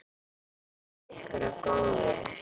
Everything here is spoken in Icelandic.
Verði ykkur að góðu.